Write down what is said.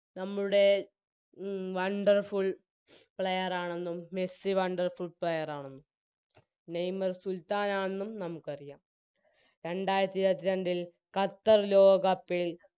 നമ്മുടെ മ് Wonderful player ആണെന്നും മെസ്സി Wonderful player ആണെന്നും നെയ്‌മർ സുൽത്താനാണെന്നും നമുക്കറിയാം രണ്ടാരത്തിഇരുപത്രണ്ടില് ഖത്തർ ലോക cup ൽ